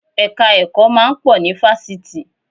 Ẹ̀ka ẹ̀kọ́ máa ń pọ̀ ní Fásitì.